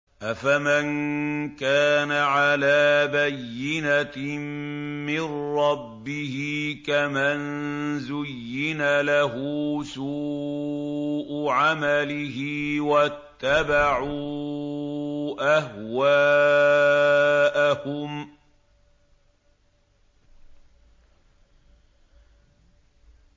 أَفَمَن كَانَ عَلَىٰ بَيِّنَةٍ مِّن رَّبِّهِ كَمَن زُيِّنَ لَهُ سُوءُ عَمَلِهِ وَاتَّبَعُوا أَهْوَاءَهُم